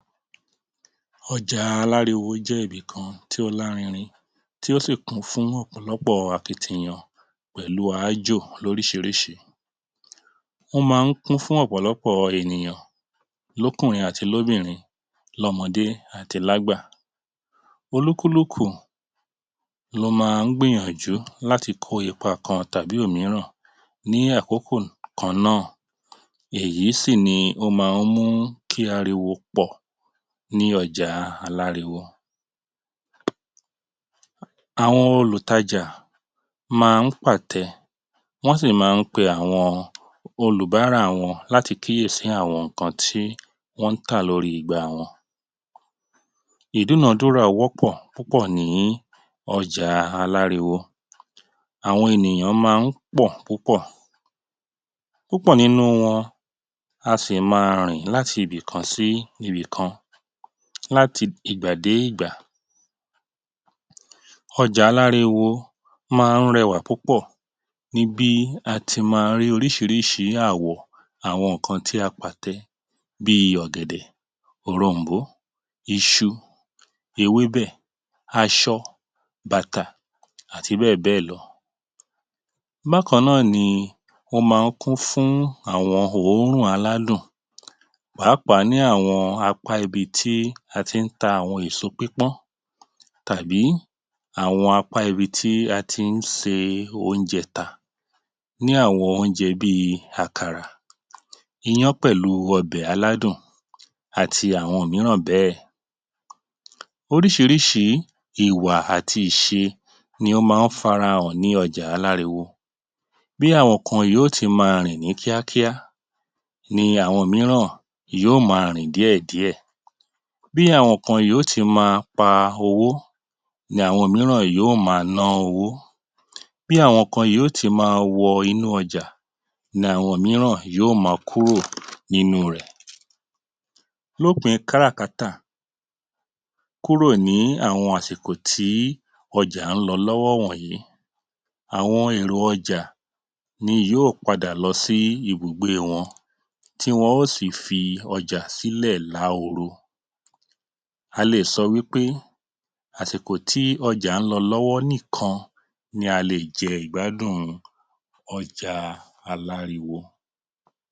Ọjà aláriwo jẹ́ ibì kan tí ó larinrin tí ó sì kún fún ọ̀pọ̀lọpọ̀ akitiyan pẹ̀lú áájò lóríṣiríṣi. Ó máa ń kún fún ọ̀pọ̀lọpọ̀ ènìyàn, lókùnrin àti lóbìnrin, lọ́mọdé àti lágbà. Olúkúlùkù ló máa ń gbìyànjú láti kó ipa kan tàbí òmíràn ni kan náà, èyí sì ni ó máa ń mú kí ariwo pọ̀ ni ọjà aláriwo. Àwọn olùtajà máa ń pàtẹ, wọ́n sì máa ń pe àwọn olùbárà wọn láti kíyèsí àwọn nǹkan tí wọ́n ń tà lórí igbá wọn. Ìdúnàádúrà wọ́pọ̀ púpọ̀ ni ọjà aláriwo. Àwọn ènìyàn máa ń pọ̀ púpọ̀. Púpọ̀ nínú wọn a sì ma rìn láti ibì kan sí ibì kan, láti ìgbà dé ìgbà. Ọjà aláriwo máa ń rẹwà púpọ̀ ní bí a ti máa ń rí oríṣiríṣi àwọ̀ àwọn nǹkan tí a pàtẹ bíi: ọ̀gẹ̀dẹ̀, òrom̀bó, iṣu, ewébẹ̀, aṣọ, bàtà àti bẹ́ẹ̀ bẹ́ẹ̀ lọ. Bákan náà ni ó máa ń kún fún àwọn òórùn aládùn, pàápàá ní àwọn apá ibi tí a ti ń ta àwọn èso pípọ́n tàbí àwọn apá ibi tí a ti ń se oúnjẹ tà. Ní àwọn oúnjẹ bíi: àkàrà, ìyàn pẹ̀lú ọbẹ̀ aládùn àti àwọn mírànbẹ́ẹ̀. Oríṣiríṣi ìwà àti ìṣe ni ó máa ń fara hàn ní ọjà aláriwo. Bí àwọn kan yóò tì ma rìn ní kíákíá, ní àwọn mìíràn yóò ma rìn díẹ̀ díẹ̀. Bí àwọn kan yóò tì ma pa owó, ní àwọn mìíràn yóò ma ná owó. Bí àwọn kan yóò tì ma wọ inú ọjà, ní àwọn mìíràn yóò ma kúrò nínú rẹ̀. Lópin kárà-kátà, kúrò ní àwọn àsìkò tí ọjà ń lọ lọ́wọ́ wọ̀nyí, àwọn èrò ọjà ni yóò padà lọ sí ibùgbé wọn, tí wọ́n ó sì fi ọjà sílẹ̀ láhoro. A lè sọ wí pé àsìkò tí ọjà ń lọ lọ́wọ́ nìkan ni a lè jẹ ìgbádùn ọjà aláriwo.